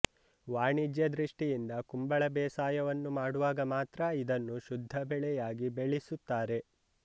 ವಾಣಿಜ್ಯ ದೃಷ್ಟಿಯಿಂದ ಕುಂಬಳ ಬೇಸಾಯವನ್ನು ಮಾಡುವಾಗ ಮಾತ್ರ ಇದನ್ನು ಶುದ್ಧ ಬೆಳೆಯಾಗಿ ಬೆಳಿಸುತ್ತಾರೆ